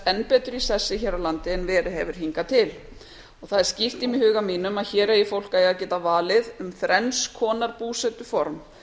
enn betur í sessi hér á landi en verið hefur hingað til það er skýrt í huga mínum að hér eigi fólk að geta valið um þrenns konar búsetuform